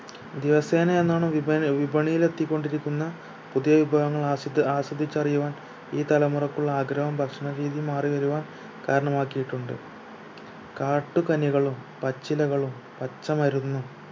ദിവസേനെ എന്നോണം വിപണ വിപണിയിൽ എത്തിക്കൊണ്ടിരിക്കുന്ന പുതിയ വിഭവങ്ങൾ അസ്വ ആസ്വദിച്ചറിയുവാൻ ഈ തലമുറക്ക് ഉള്ള ആഗ്രഹവും ഭക്ഷണ രീതിയും മാറിവരുവാൻ കരണമാക്കിയിട്ടുണ്ട് കാട്ടു കനികളും പച്ചിലകളും പച്ചമരുന്നും